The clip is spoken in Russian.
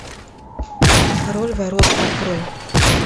король воров открой